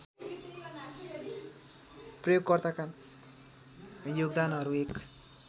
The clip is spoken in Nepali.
प्रयोगकर्ताका योगदानहरू एक